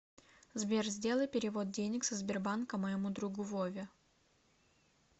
сбер сделай перевод денег со сбербанка моему другу вове